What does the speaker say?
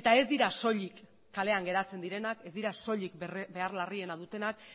eta ez dira soilik kalean geratzen direnak ez dira soilik behar larriena dutenak